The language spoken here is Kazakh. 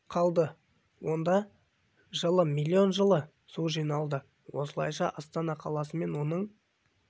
қалды онда жылы млн жылы млн жылы млн су жиналды осылайша астана қаласы мен оның